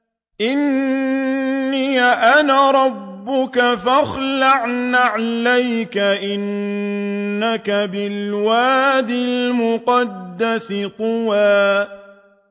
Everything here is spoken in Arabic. إِنِّي أَنَا رَبُّكَ فَاخْلَعْ نَعْلَيْكَ ۖ إِنَّكَ بِالْوَادِ الْمُقَدَّسِ طُوًى